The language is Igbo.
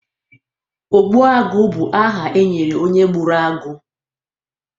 ogbuagụ bụ aha e nyere onye gburu agụ